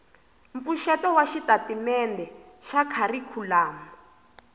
mpfuxeto wa xitatimende xa kharikhulamu